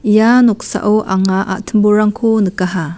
ia noksao anga a·timborangko nikaha.